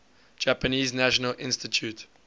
japanese national institute